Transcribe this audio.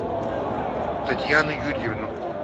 татьяну юрьевну